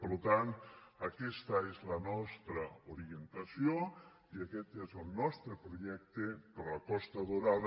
per tant aquesta és la nostra orientació i aquest és el nostre projecte per a la costa daurada